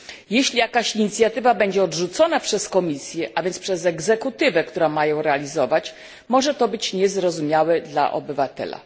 Jeśli jakaś inicjatywa będzie odrzucona przez Komisję a więc przez egzekutywę, która ma ją realizować może to być niezrozumiałe dla obywateli.